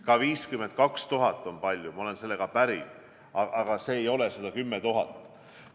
Ka 52 000 on palju, ma olen sellega päri, aga see ei ole 110 000.